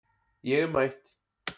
Ég er mætt